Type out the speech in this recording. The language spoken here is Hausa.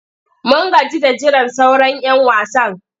Mun gaji da jiran sauran'yan wasan.